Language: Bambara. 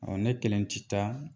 Awɔ ne kelen ti taa